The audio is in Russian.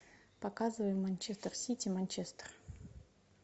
показывай манчестер сити манчестер